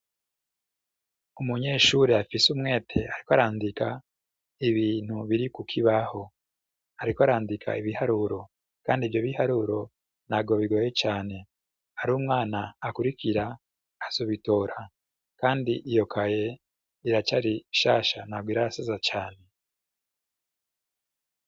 Umunyeshuri afise umwete ariko arandika ibintu biri ku kibaho, ariko arandika ibiharuro kandi ivyo biharuro ntabwo bigoye cane, ar'umwana akurikira azobitora, kandi iyo kaye iracari nshasha ntabwo irasaza cane.